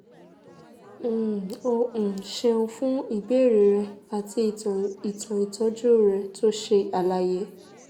um o um ṣeun fún ìbéèrè rẹ àti ìtàn ìtàn ìtọ́jú rẹ tó ṣe àlàyé